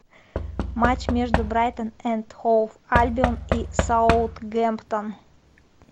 матч между брайтон энд хоув альбион и саутгемптон